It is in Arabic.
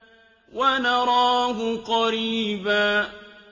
وَنَرَاهُ قَرِيبًا